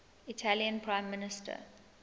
italian prime minister